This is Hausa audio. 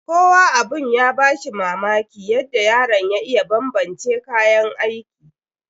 Kowa abun ya ba shi mamaki yadda yaron ya iya banbance kayan aikin.